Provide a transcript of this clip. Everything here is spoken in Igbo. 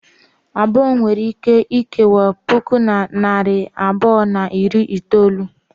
Abụọ nwere ike ikewa puku na narị abụọ na iri itolu.